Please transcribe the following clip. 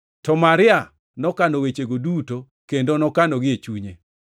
To Maria nokano wechegi duto kendo nokanogi e chunye.